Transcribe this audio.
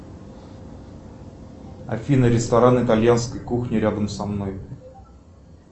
афина ресторан итальянской кухни рядом со мной